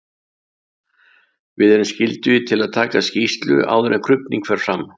Við erum skyldugir til að taka skýrslu áður en krufning fer fram.